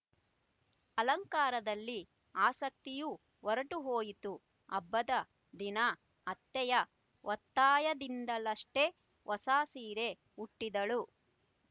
ಅಲಂಕಾರದಲ್ಲಿ ಆಸಕ್ತಿಯೂ ಹೊರಟು ಹೋಯಿತು ಹಬ್ಬದ ದಿನ ಅತ್ತೆಯ ಒತ್ತಾಯದಿಂದಲಷ್ಟೆ ಹೊಸ ಸೀರೆ ಉಟ್ಟಿದಳು